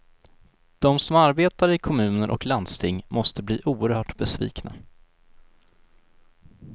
De som arbetar i kommuner och landsting måste bli oerhört besvikna.